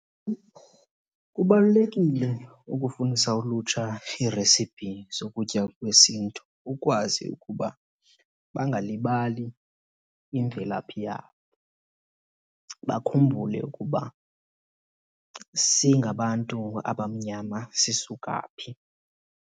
Kubalulekile ukufundisa ulutsha iiresipi zokutya kwesiNtu ukwazi ukuba bangalibali imvelaphi yabo, bakhumbule ukuba singabantu abamnyama sisuka phi.